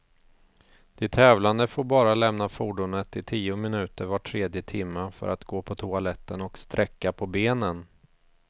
De tävlande får bara lämna fordonet i tio minuter var tredje timme, för att gå på toaletten och sträcka på benen.